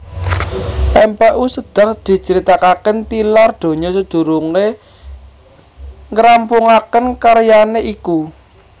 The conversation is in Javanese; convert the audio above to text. Mpu Sedah dicritakaké tilar donya sadurungé ngrampungaké karyané iku